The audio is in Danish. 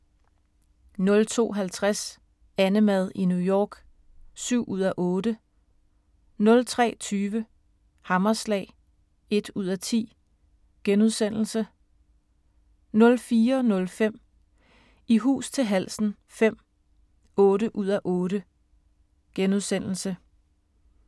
02:50: AnneMad i New York (7:8) 03:20: Hammerslag (1:10)* 04:05: I hus til halsen V (8:8)*